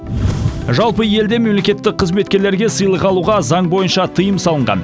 жалпы елде мемлекеттік қызметкерлерге сыйлық алуға заң бойынша тыйым салынған